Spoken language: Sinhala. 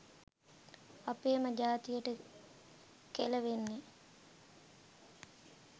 අපේම ජාතියට කෙලවෙන්නෙ.